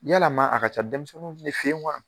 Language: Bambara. Yala man a ka ca denmisɛnninw fɛ yen wa.